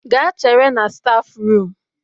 Gaa chere na stafu rum